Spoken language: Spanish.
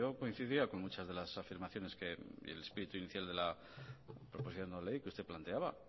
que coincidía con muchas de las afirmaciones que el espíritu inicial de la proposición no de ley que usted planteaba